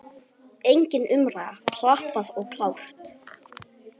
Engin umræða, klappað og klárt.